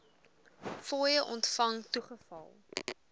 fooie ontvang toegeval